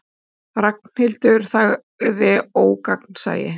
Ragnhildur þagði ógagnsæ.